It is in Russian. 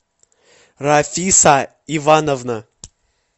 рафиса ивановна